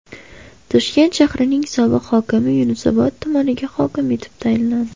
Toshkent shahrining sobiq hokimi Yunusobod tumaniga hokim etib tayinlandi.